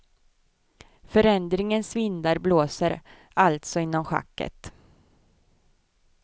Förändringens vindar blåser alltså inom schacket.